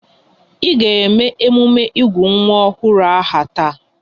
Ị ga eme emume ịgụ nwa ọhụrụ aha taa!